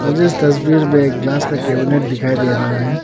मुझे इस तस्वीर में एक ग्लास का कैबिनेट दिखाई दे रहा है।